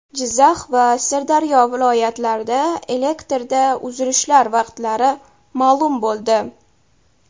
Jizzax va Sirdaryo viloyatlarida elektrda uzilishlar vaqtlari ma’lum bo‘ldi.